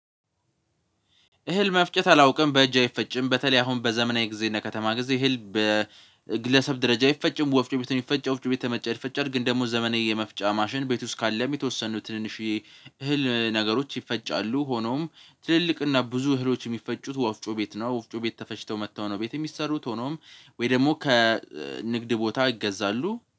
እህል መፍጨት አላውቅም። በእጅ አይፈጭም በተለይ አሁን በዘመናዊ ጊዜ እነ ከተማ ጊዜ እህል በግለሰብ ደረጃ አይፈጭም ወፍጮ ቤት ይፈጭ። ወፍጮ ቤተመጨር ይፈጭር ግን ደግሞ ዘመኔ የመፍጫ ማሽን ቤት ውስጥ ካለ የሚወሰኑት ትንንሽዬ እህል ነገሮች ይፈጫሉ ሆኖም ትልልቅ እና ብዙ እህሎች የሚፈጩት ወፍጮ ቤት ነው። ወፍጮ ቤት ተፈጭተው መጥተው ነው ቤት የሚሰሩት። ሆኖም ወይ ደግሞ ከንግድ ቦታ ይገዛሉ